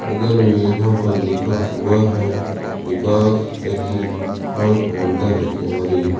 बगल में यहां पर लिखा युवा है विकास एग्जिट और काउंटर इंक्वायरी ।